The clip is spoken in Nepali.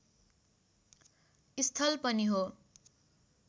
स्थल पनि हो